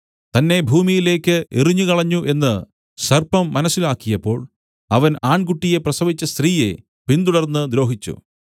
തന്നെ ഭൂമിയിലേക്കു എറിഞ്ഞുകളഞ്ഞു എന്നു സർപ്പം മനസ്സിലാക്കിയപ്പോൾ അവൻ ആൺകുട്ടിയെ പ്രസവിച്ച സ്ത്രീയെ പിന്തുടർന്ന് ദ്രോഹിച്ചു